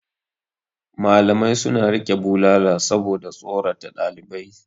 Malamai suna riƙe bulala saboda tsorata ɗalibai.